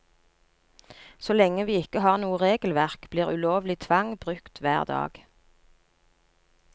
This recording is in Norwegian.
Så lenge vi ikke har noe regelverk, blir ulovlig tvang brukt hver dag.